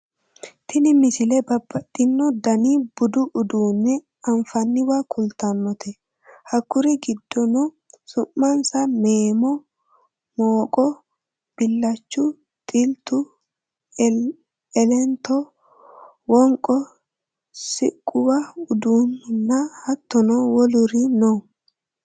tini misile babbaxxino daniha budu uduunne anfanniwa kultannote hakkuri giddono su'mansa meemo mooqqo billachu xiltu elento wonqo siqquwa uduunnunna hattono woluri no